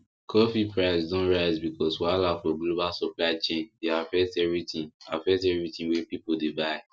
coffee price don rise because wahala for global supply chain dey affect everything affect everything wey people dey buy